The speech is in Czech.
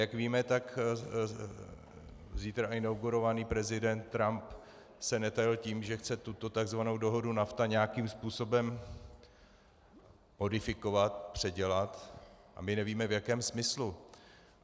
Jak víme, tak zítra inaugurovaný prezident Trump se netajil tím, že chce tuto tzv. dohodu NAFTA nějakým způsobem kodifikovat, předělat, a my nevíme, v jakém smyslu.